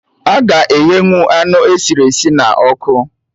Aga eghenwụ anụ esiri esi na ọkụ